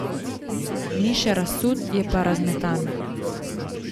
Ni še razsut, je pa razmetan.